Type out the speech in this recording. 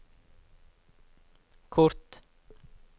kort